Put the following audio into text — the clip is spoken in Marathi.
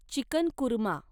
चिकन कुर्मा